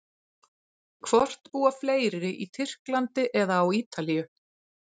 Hvort búa fleiri í Tyrklandi eða á Ítalíu?